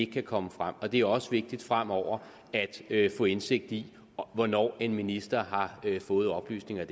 kan komme frem det er også vigtigt fremover at få indsigt i hvornår en minister har fået oplysninger